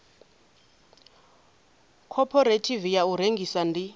khophorethivi ya u rengisa ndi